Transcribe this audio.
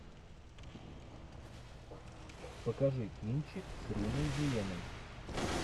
покажи кинчик с риной зеленой